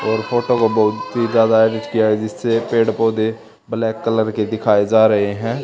और फोटो को बहोत ही ज्यादा एडिट किया है जिस पेड़ पौधे ब्लैक कलर के दिखाए जा रहे हैं।